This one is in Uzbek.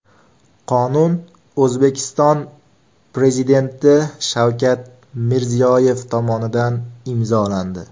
Qonun O‘zbekiston Prezidenti Shavkat Mirziyoyev tomonidan imzolandi.